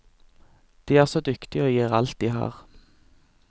De er så dyktige og gir alt de har.